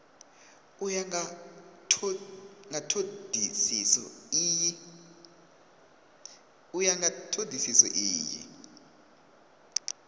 u ya nga thodisiso iyi